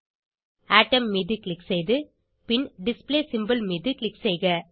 atom மீது click செய்து பின் டிஸ்ப்ளே சிம்போல் மீது க்ளிக் செய்க